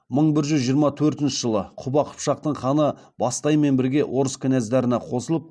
мың бір жүз жиырма төртінші жылы құба қыпшақтың ханы бастаймен бірге орыс кінәздарына қосылып